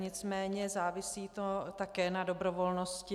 Nicméně závisí to také na dobrovolnosti.